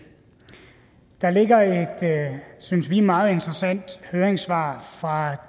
der ligger et synes vi meget interessant høringssvar fra